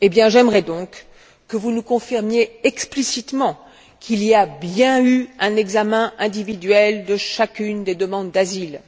J'aimerais donc que vous nous confirmiez explicitement qu'il y a bien eu un examen individuel de chacune des demandes d'asile.